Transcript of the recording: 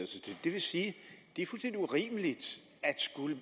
til det det vil sige at det er fuldstændig urimeligt at skulle